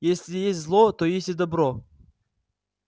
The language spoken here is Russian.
если есть зло то есть и добро